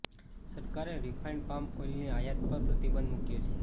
સરકારે refined palm ઓઇલની આયાત પર પ્રતિબંધ મૂક્યો છે